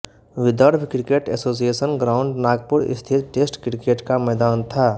Vidarbha cricket association ground Nagpur स्थित test cricket का मैदान था